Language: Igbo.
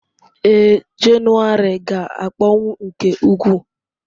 Ee, Jenụwarị ga-akpọnwụ nke ukwuu.